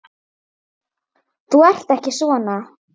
Þú ert ekki svona.